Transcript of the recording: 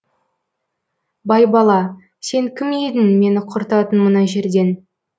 байбала сен кім едің мені құртатын мына жерден